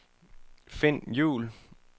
Finn Juul